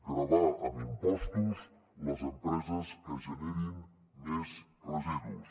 gravar amb impostos les empreses que generin més residus